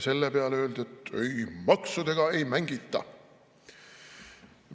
Selle peale öeldi, et ei, maksudega ei mängita.